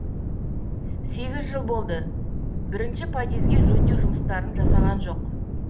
сегіз жыл болды бірінші подъезге жөндеу жұмыстарын жасаған жоқ